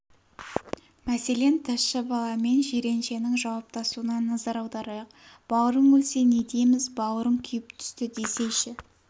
мәселен тазша бала мен жиреншенің жауаптасуына назар аударайық бауырың өлсе не дейміз бауырың күйіп түсті десейші